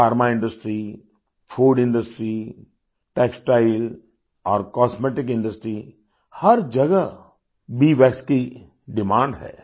Pharma industry food industry textile और cosmetic industryहर जगह बीवैक्स की डिमांड है